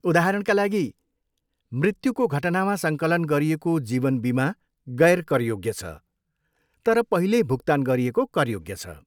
उदाहरणका लागि, मृत्युको घटनामा सङ्कलन गरिएको जीवन बिमा गैर करयोग्य छ, तर पहिल्यै भुक्तान गरिएको करयोग्य छ।